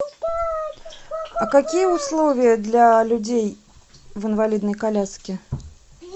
а какие условия для людей в инвалидной коляске